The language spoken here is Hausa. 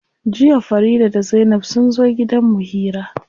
Jiya Farida da zainab sunzo gidan mu hira.